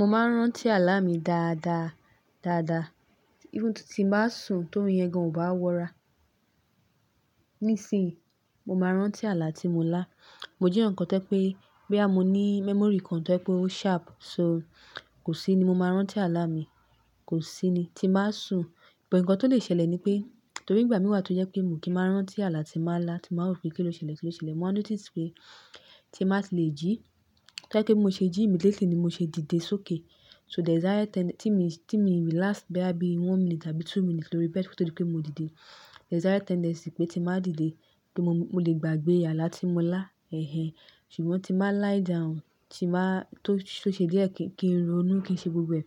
Mo máa ń rántí àlá mi dáadáa, dáadáa. Even tí n bá sùn torun yan gan, ò bá wọra. Nísìyí mo máa rántí àlá tí mo lá. Mo jẹ́ eeyan kan tó je pé boya mo ní memory kan tó je pé ó sharp, so kò sí ni mo máa rántí àlá mi, kò sí ni tí baa sùn. But ǹkan tó lè ṣẹlẹ̀ ni pé torí ìgbà mí wà tó jẹ́ pé mi kí n máa rántí àlá tí maa lá tí màá rò pé kí ló ṣẹlẹ̀, kí ló ṣẹlẹ̀. Mo wa notice pé tí màá ti lè jí. Ka ni pé bi mo ṣe jí immediately ni mo ṣe dìde sókè. Tí mi relax boya bí one minute àbí two minutes lori bed kó tó di pé mo dìde. This is higher tendency pé tí màá dìde, pe mo lè gbàgbé àlá tí mo lá. Ṣùgbọ́n tí màá lie down, tó ṣe díẹ̀ kí n ronú kí ṣe gbogbo ẹ̀.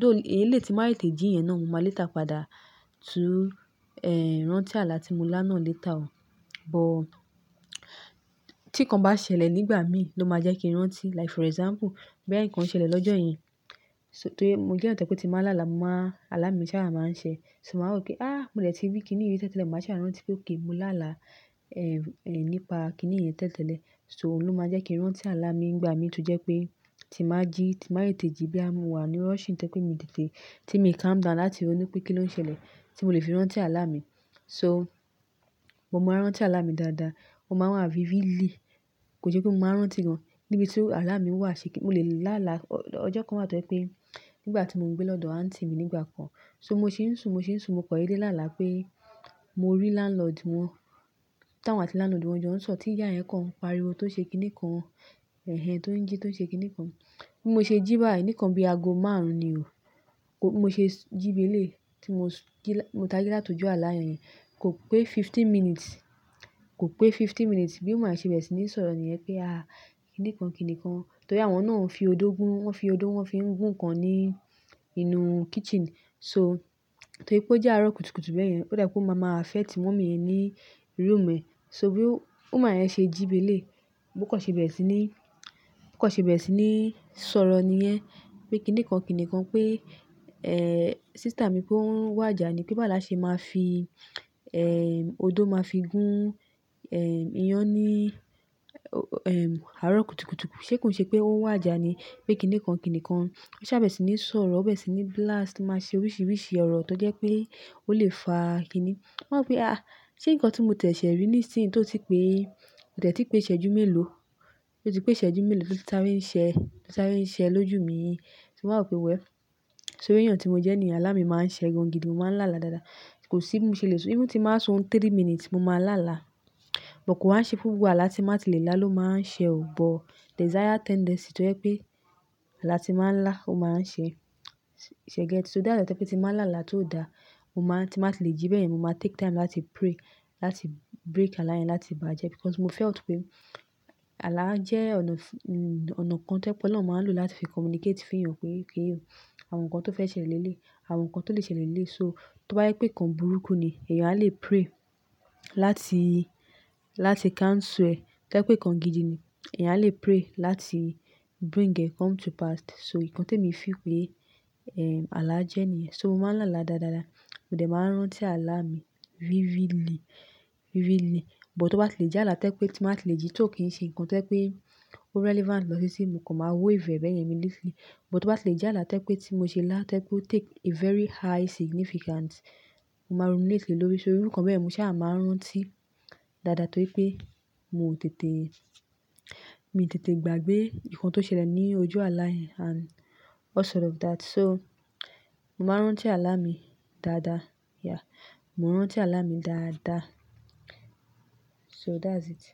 Thou eleyii ti n màá tete jí yan náà, mo máa later padà tú rántí àlá tí mo lá náà later o. But tí ǹkan bá ṣẹlẹ̀ nígbà mí ló máa jẹ́ kí n rántí. Like for example, boya nkan ṣẹlẹ̀ lọ́jọ́ yen So torí mo jẹ́ enikan tó je pé tí màá láàlá, àlá mi sáà máa ń ṣẹ. So màá rò pé, "mó de ti rí kíni yii rí tẹ́lẹ̀tele." Màá sáà rántí pé okay mo láàlá, nípa kíni yen tẹ́lẹ̀tele. So òun ló máa jẹ́ kí n rántí àlá mi ígbà mí tó jẹ́ pé tí màá jí, tí màá tete ji boya mo wà ní rushing to je pé mo dìde. Tí mii calm down láti ronú pé kí ló ń ṣẹlẹ̀ tí mo lè fi rántí àlá mi. So mo máa ń rántí àlá mi dáadáa. O máa ń wà vividly. Kò ṣe pé mo máa ń rántí gan níbi tí àlá mi wà si mo lè láàlá. Ọjọ́ kan wà tó je pé nígbà tí mo ń gbé lọ́dọ̀ aunty mi nígbà kan. So mo ṣe ń sùn, mo ṣe ń sùn, mo kọ̀ dede láàlá pé mo rí landlord wọ́n. Tá awon ati landlord wọn jọ ń sọ̀rọ̀ tí ìyá yen kan pariwo tó ṣe kíni kan, tó ń jí tó ṣe kíni kan. Bí mo ṣe jí báyìí, nikan bí ago márùn-ún ni o. Bi mo ṣe jí bi eleyi tí mo ji, mo taji láti ojú àálá yẹn. Kò pé fifteen minutes. Bí woman yen ṣe bẹ̀re sí ní sọ̀rọ̀ níyẹn pé, kìnìkán, kìnìkán. Torí àwọn náà ń fi odó gún, wọ́n fi odó wọ́n fi ń gún ǹkan ní inú kitchen. So torí pé ó jẹ́ aró kutukutu bẹ́ẹ̀ yẹn, ó dà pé ó máa ma affect mummy yẹn ni room ẹ. So bí woman yẹn ṣe jíbi eleyi, bó kan ṣe bẹere sí ní sọ̀rọ̀ nìyẹn pé kìnìkán, kìnìkán pé, sister mi pe won ń wà ija ni pé baawo la ṣe máa fi, odó máa fi gún, iyán ní, aró kutukutuku. Ṣé ko n ṣe pé ó ń wà ija ni pé kìnìkán, kìnìkán. Ó sà bere sí ní sọ̀rọ, ó bere sí ní blast o máa ṣe oríṣiríṣi ọ̀rọ̀ tó jẹ́ pé ó lè fá kìní. Mó wa ń wo pé, ṣé nǹkan tí mo tẹ̀ṣẹ̀ rí nísìnyí tó ti pé, ko tẹ̀tí pé isejú mélòó, ó ti pé isejú mélòó ló ti sare ṣẹ lójú mi yii. So mó wa wo pé, well. So iru èèyàn tí mo jẹ́ ni yen, àlá mi máa ń ṣẹ gan gidi, mo máa ń láàlá dáadáa. Kò sí bi mo ṣe lè sùn, even ti máa ń sùn three minutes, mo máa láàlá. But kò wa ṣe fún gbogbo àlá tí mo máa ti lè lá ló máa ń ṣẹ ò. But there is higher tendency tó jẹ́ pé àlá tí máa ń lá, ó máa ń ṣe. Se get? So that is tí pe ti láàlá tó dáa, ti máa ti lè jí bẹ́ẹ̀ yẹn, mo máa take time láti pray, láti break àlá yẹn láti bà á jẹ́. Because mo felt pé àlá jẹ́ ọ̀nà kan to je pé ọlọ́run máa ń lò láti fi communicate fún èèyàn pé okay o, àwọn nǹkan tó fẹ́ ṣẹlẹ̀ lélé, àwọn nnkan tó lè ṣẹlẹ̀ lélé. So tó bá jẹ pé nǹkan burúkú ni, èèyàn á lè pray láti cancel e. To ba je pé nǹkan gidi ni, èèyàn á lè pray láti bring e come to past. So nǹkan tí emi feel pé, àlá jẹ́ nìyẹn. So mo máa láàlá dáadáa. Mò de máa n rántí àlá mi vividly. But tó bá ti lè jẹ́ àlá to je pé ti máa ti lè jí tó kì í ṣe nǹkan to je pé ó relevant lọ titi, mo kan máa wave beyẹn ni But tó bá ti lè jẹ́ àlá to je pé ti mo ṣe lá to je pé ó take a very high significance, mo máa ruminate lé lórí. So irú nǹkan bẹ́ẹ̀, mo sáà máa rántí dáadáa torí pé mi tètè gbàgbé nǹkan tó ṣẹlẹ̀ ní ojú àlá yẹn and all sort of that. So mo máa rántí àlá mi dáadáa. Mo n rántí àlá mi dáadáa. So that's it.